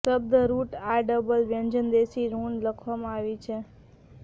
શબ્દ રુટ આ ડબલ વ્યંજન વિદેશી ઋણ લખવામાં આવી છે